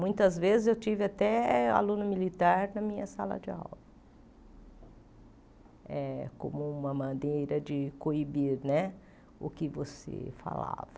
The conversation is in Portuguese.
Muitas vezes eu tive até aluno militar na minha sala de aula, eh como uma maneira de coibir né o que você falava.